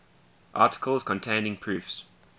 articles containing proofs